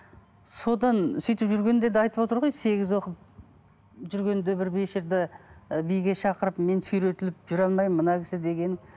содан сөйтіп жүргенде де айтып отыр ғой сегіз оқып жүргенде бір вечерде і биге шақырып мен сүйретіліп жүре алмаймын мына кісі деген